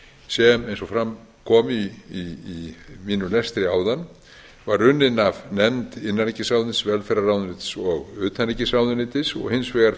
sem eins og fram kom í mínum lestri áðan var unnin var af nefnd innanríkisráðuneytis velferðarráðuneytis og utanríkisráðuneytis og hins vegar á